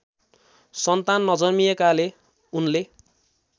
सन्तान नजन्मिएकाले उनले